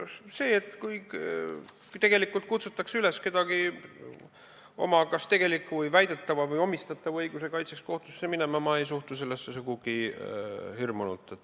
Sellesse, kui kutsutakse üles kedagi oma kas tegeliku või väidetava või talle omistatava õiguse kaitseks kohtusse minema, ei suhtu ma sugugi hirmunult.